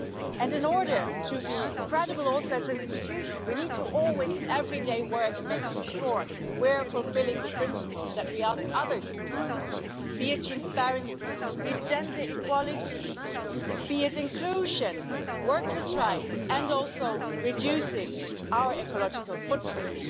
And in order also to be credible as an institution we need to work, always and every day, to make sure we are fulfilling the principles that we ask others to fulfil, be it transparency, be it gender equality, be it inclusion, workers' rights, and also reducing our ecological footprint.